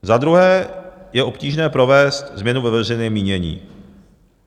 Za druhé je obtížné provést změnu ve veřejném mínění.